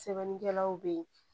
Sɛbɛnnikɛlaw be yen